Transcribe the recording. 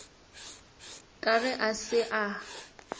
ka ge a se a